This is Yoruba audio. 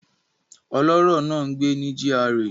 Ọlọ́rọ̀ náà ń gbé ní GRA